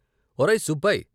"ఒరే సుబ్బాయ్ "